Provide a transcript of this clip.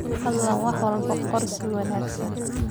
Fadlan wax walba qor si wanagsan.